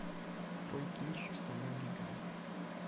открой кинчик стальной гигант